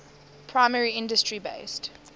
primary industry based